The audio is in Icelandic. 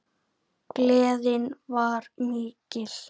Gleðin var mikil.